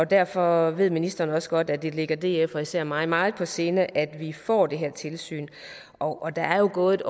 derfor ved ministeren også godt at det ligger df og især mig meget på sinde at vi får det her tilsyn og der er jo gået